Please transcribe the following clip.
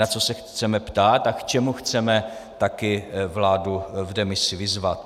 Na co se chceme ptát a k čemu chceme také vládu v demisi vyzvat.